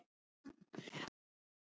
Hvað hefurðu langan tíma?